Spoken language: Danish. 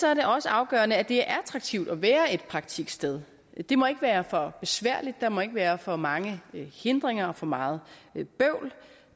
er det også afgørende at det er attraktivt at være et praktiksted det må ikke være for besværligt der må ikke være for mange hindringer og for meget bøvl